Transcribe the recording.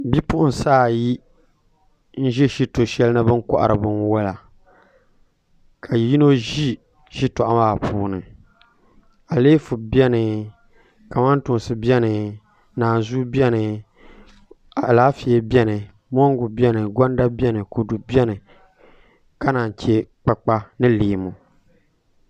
Bipuɣunsi ayi n ʒi shito shɛli ni bi ni kohari binwola ka yino ʒi shitoɣu maa puuni aleefu biɛni kamantoosi biɛni naanzuu biɛni Alaafee biɛni mongu biɛni kodu biɛni gonda biɛni ka naan chɛ kpakpa ni leemu